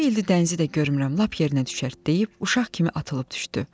Neçə ildir dənizi də görmürəm, lap yerinə düşərt deyib uşaq kimi atılıb düşdü.